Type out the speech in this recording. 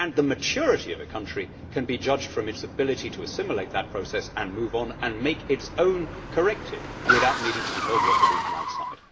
The maturity of a country can be judged from its ability to assimilate that process, move on and make its own corrective, without needing to be told what to do from outside.